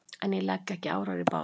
En ég legg ekki árar í bát.